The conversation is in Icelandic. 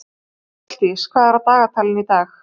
Fjalldís, hvað er á dagatalinu í dag?